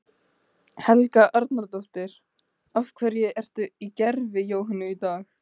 Helga Arnardóttir: Af hverju ertu í gervi Jóhönnu í dag?